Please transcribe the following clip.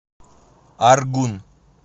аргун